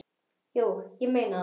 Jú, ég meina það.